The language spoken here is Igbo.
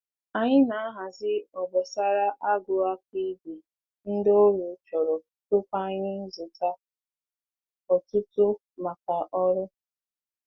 Anyị na-ahazi obosara agụ aka ígwè ndị ọrụ chọrọ tupu anyị zụta ọtụtụ maka oru.